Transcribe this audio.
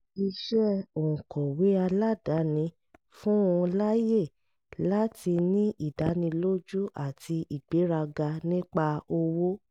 iṣẹ́ òǹkọ̀wé aládàáni fún un láyè láti ní ìdánilójú àti ìgbéraga nípa owó